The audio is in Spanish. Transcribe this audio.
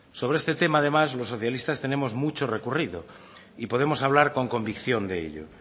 sobre este tema además los socialistas tenemos mucho recorrido y podemos hablar con convicción de ello